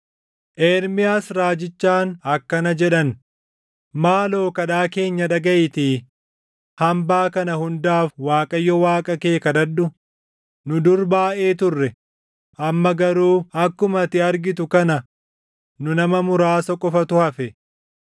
Ermiyaas raajichaan akkana jedhan; “Maaloo kadhaa keenya dhagaʼiitii hambaa kana hundaaf Waaqayyo Waaqa kee kadhadhu. Nu dur baayʼee turre; amma garuu akkuma ati argitu kana nu nama muraasa qofattu hafe.